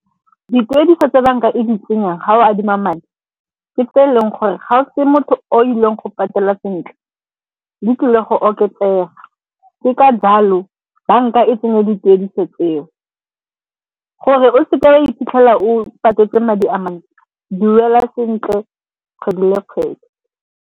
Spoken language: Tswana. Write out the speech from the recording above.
Dituediso tse banka e di tsenyang ga o adima madi ke tse e leng gore ga o se motho o ileng go patela sentle, di tlile go oketsega. Ke ka jalo banka e tsenye dituediso tseo. Gore o seke wa iphitlhela o patetse madi a mantsi, duela sentle kgwedi le kgwedi.